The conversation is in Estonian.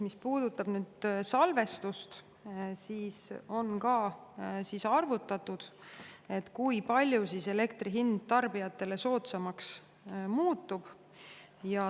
Mis puudutab salvestust, siis on ka arvutatud, kui palju elektri hind tarbijatele soodsamaks muutub.